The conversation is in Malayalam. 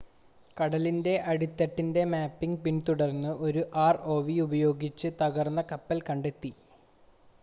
കടലിൻ്റെ അടിത്തട്ടിൻ്റെ മാപ്പിംഗ് പിന്തുടർന്ന് ഒരു ആർഓവി ഉപയോഗിച്ച് തകർന്ന കപ്പൽ കണ്ടെത്തി